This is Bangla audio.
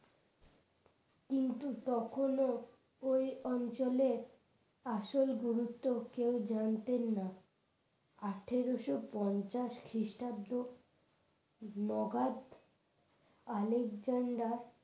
কিন্তু তখনও ওই অঞ্চলের আসল গুরুত্ব কেউ জানতেন না আঠারোশো পঞ্চাশ খ্রিস্টাব্দ মগাদ আলেকজান্ডার